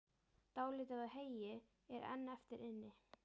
Dálítið af heyi er enn eftir inni.